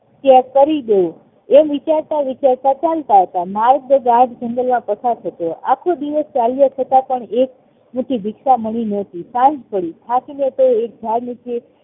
ત્યાગ કરીદવ એમ વિચારતા વિચારતા ચાલતા હતા ગાઢ જંગલમાં પસાર થતો આખો દિવસ ચાલ્યો છતાં પણ એક મુઠી ભિક્ષા મળી નોતી સાંજ પડી થાકીને તે એક જાડ નીચે